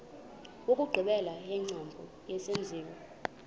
wokugqibela wengcambu yesenziwa